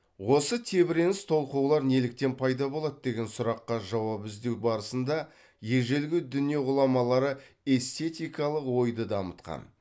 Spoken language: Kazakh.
осы тебіреніс толқулар неліктен пайда болады деген сұраққа жауап іздеу барысында ежелгі дүние ғұламалары эстетикалық ойды дамытқан